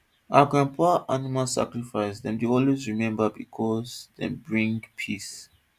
our grandpapa animal sacrifice dem dey always remember because dem bring peace